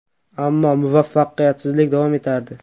Ammo muvaffaqiyatsizlik davom etardi.